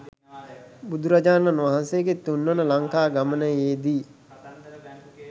බුදුරජාණන් වහන්සේගේ තුන්වන ලංකා ගමනයේදි